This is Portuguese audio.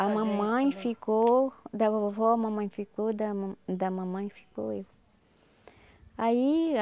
A mamãe ficou da vovó, a mamãe ficou da ma da mamãe, ficou eu aí